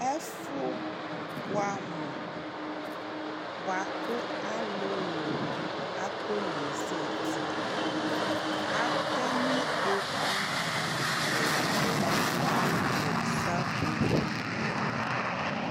Ɛfʋ bʋɛamʋ bʋa kʋ alʋlʋ akɔnezati Atɛ nʋ ikpoku nʋ ɛkplɔ nʋ sapopo